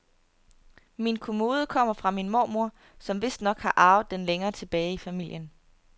Min kommode kommer fra min mormor, som vistnok har arvet den længere tilbage i familien.